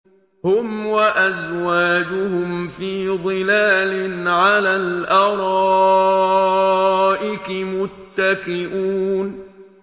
هُمْ وَأَزْوَاجُهُمْ فِي ظِلَالٍ عَلَى الْأَرَائِكِ مُتَّكِئُونَ